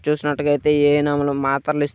చూసినట్లయితే ఈ ఏ_ఎన్_మ్ లు మాతరలు ఇస్--